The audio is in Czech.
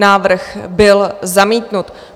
Návrh byl zamítnut.